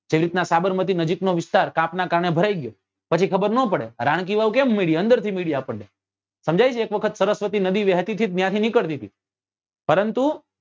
એ રીતે સાબરમતી નજીક નો વિસ્તાર કાપ નાં કારણે ભરાઈ ગયો પછી ખબર નાં પડે રાણકીવાવ કેમ મળી અંદર થ્હી મળી આપણને સમજાય છે એક વખત સરસ્વતી નદી વહેતી તી ત્યાંથી નીકળતી હતી પરંતુ